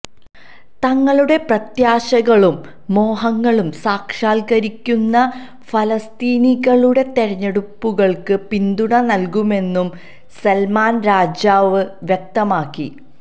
തങ്ങളുടെ പ്രത്യാശകളും മോഹങ്ങളും സാക്ഷാല്ക്കരിക്കുന്ന ഫലസ്തീനികളുടെ തെരഞ്ഞെടുപ്പുകള്ക്ക് പിന്തുണ നല്കുമെന്നും സല്മാന് രാജാവ് വ്യക്തമാക്കി